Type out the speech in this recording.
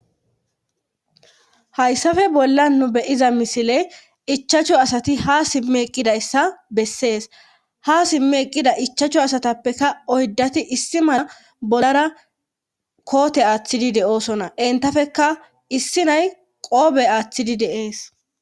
hayssafe bolla nu beyiza misile ichacho asati ha simme eqqidayssa bessees ha simmi eqqida ichacho asatappeka oydati issi mala bollara koote aaththidi de7oosona entafeka issi nay qoobe aaththidi deees